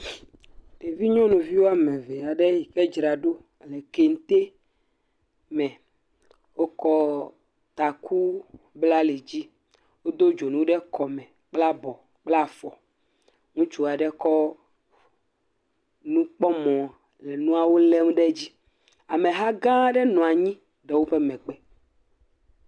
Ɖevi nyɔnu wɔme ve aɖe yike dzra ɖo ɖe kete me. Wokɔ taku bla ali dzi, wodo dzonu ɖe kɔme bla bɔ, bla fɔ. Ŋutsu aɖe kɔ nukpɔmɔ le nuawo lm ɖe edzi. Ameha gã aɖe nɔ anyi ɖe woƒe megbe.